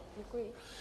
Děkuji.